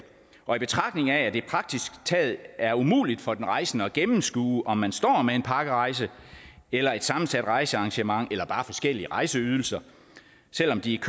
og i betragtning af at det praktisk taget er umuligt for den rejsende at gennemskue om man står med en pakkerejse eller et sammensat rejsearrangement eller bare forskellige rejseydelser selv om de